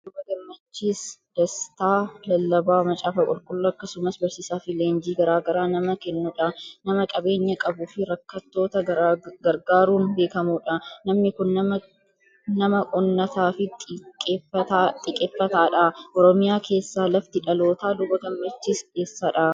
Luba Gammachiis Dasitaa, lallabaa macaafa qulqulluu akkasumas barsiisaa fi leenjii garaa garaa nama kennudha. Nama qabeenya qabuu fi rakkattoota gargaaruun beekamudha. Namni kun nama onnataa fi xiiqeffataadha. Oromiyaa keessaa lafti dhalootaa luba Gammachiis eessadha?